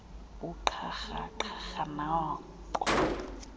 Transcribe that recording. buqharha qharha nobo